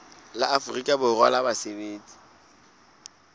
la afrika borwa la basebetsi